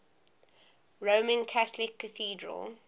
roman catholic cathedral